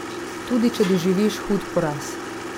Tudi če doživiš hud poraz.